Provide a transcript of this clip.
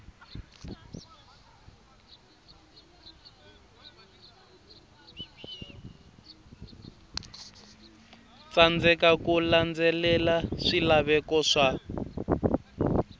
tsandzeka ku landzelela swilaveko swa